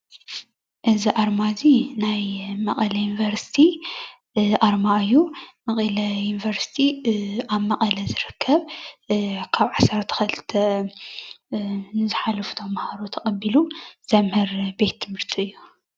እዚ ኣርማ እዚ ናይ መቀለ ዩኒቨርስቲ ኣርማ እዩ፡፡ መቐለ ዩኒቨርስቲ ኣብ መቐለ ዝርከብ ካብ 12 ንዝሓለፉ ተማሃሮ ተቀቢሉ ዘምህር ቤት ትምህርቲ እዩ፡፡